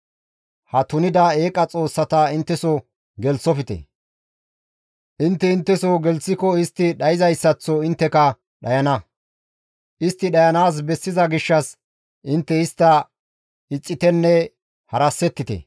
Ha tunida eeqa xoossata intteso gelththofte; intte intteso gelththiko istti dhayzayssaththo intteka dhayana; istti dhayanaas bessiza gishshas intte istta ixxitenne harasettite.